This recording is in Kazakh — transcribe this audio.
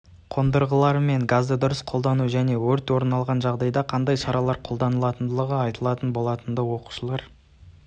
қондырғылары мен газды дұрыс қолдану және өрт орын алғанда қандай шаралар қолданылатындығы айтылған болатынды оқушылар